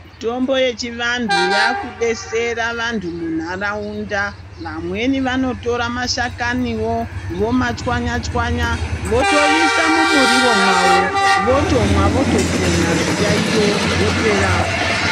Mitombo yechivantu yakudetsera vantu munharaunda vamweni vanotorawo mashakaniwo vomatswanya tswanya votoiswa mumuriwo mawo votopona zviyaiyo zvawo zviyaiyo zvopera.